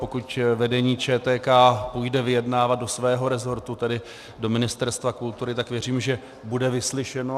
Pokud vedení ČTK půjde vyjednávat do svého resortu, tedy do Ministerstva kultury, tak věřím, že bude vyslyšeno.